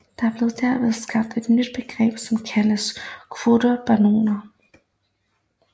Der blev derved skabt et nyt begreb som kaldes kvotebaroner